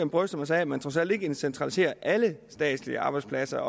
bryster man sig af at man trods alt ikke centraliserer alle statslige arbejdspladser